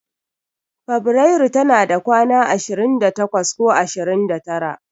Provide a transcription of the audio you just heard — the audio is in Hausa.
Febirairu tana da kwana ashirin da takwas ko ashirin da tara.